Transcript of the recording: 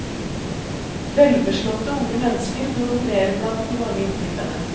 Velbeslåtte unge mennesker dominerer blant de mange innflytterne.